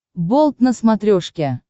болт на смотрешке